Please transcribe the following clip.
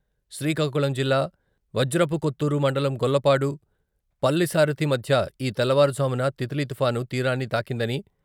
శ్రీకాకుళం జిల్లా వజ్రపుకొత్తూరు మండలం గొల్లపాడు, పల్లిసారథి మధ్య ఈ తెల్లవారుజామున తిత్లీ తుఫాను తీరాన్ని తాకిందని..